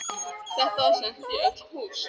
Þetta var sent í öll hús!